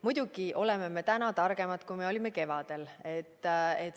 Muidugi oleme me täna targemad, kui me olime kevadel.